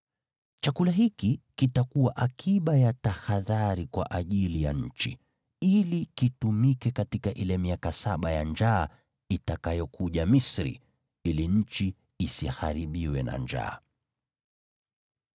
Chakula hiki kitakuwa akiba ya tahadhari kwa ajili ya nchi, ili kitumike katika ile miaka saba ya njaa itakayokuja Misri, ili nchi isiharibiwe na njaa.”